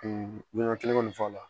U miɲan kelen kɔni fɔ a la